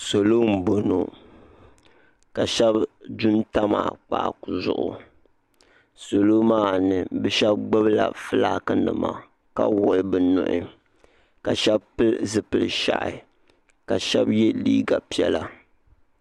Salɔ nboŋɔ, ka shebi dun tam akpaaku zuɣu salɔ maa mi bi shebigbubla flack nima, ka wuɣi bɛnuhi. ka shebi pili zipili ʒɛhi kashebi ye liiga lpiɛla.